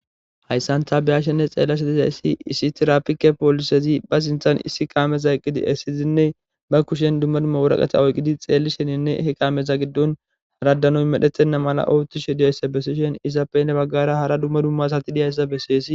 Hayssan ta beyashenne xeellashshe disayssi issi tirapike poolisezi ba siinththan issi kaameza eqqidi essizinne ba kushen dumma dumma wuraqate oyqqidi xeellishsheninne he kaameza giddon hara mettoy medhetenna malla oottishshe dizayssa besiishshen izappenne baggara hara dumma dumma sati dizayssa besseesi